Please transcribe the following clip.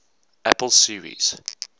apple series